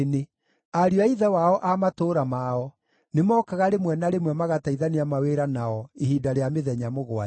Ariũ a ithe wao a matũũra mao nĩmookaga rĩmwe na rĩmwe magateithania mawĩra nao ihinda rĩa mĩthenya mũgwanja.